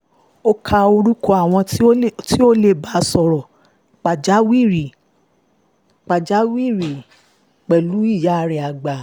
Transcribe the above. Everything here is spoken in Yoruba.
ó ka orúkọ àwọn tí wọ́n lè bá sọ̀rọ̀ lákòókò pàjáwìrì pẹ̀lú ìyá rẹ̀ àgbà